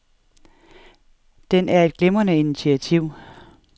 Den er et glimrende initiativ.